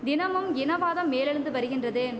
தினமும் இனவாதம் மேலெழுந்து வருகின்றது